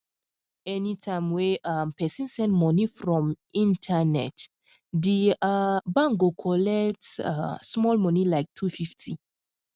anytime wey um person send money from internet di um bank go collect um small money like two fifty